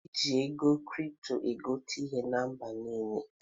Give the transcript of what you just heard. E ji ego kripto egote ihe na mba niile.